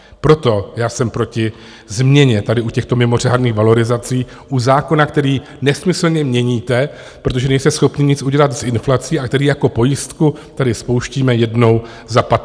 Proto já jsem proti změně tady u těchto mimořádných valorizací, u zákona, který nesmyslně měníte, protože nejste schopni nic udělat s inflací, a který jako pojistku tedy spouštíme jednou za 15 let.